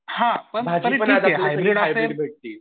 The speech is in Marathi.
हां पण तरीपण ठीक ये